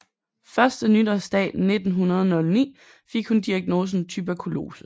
Første nytårsdag 1909 fik hun diagnosen tuberkulose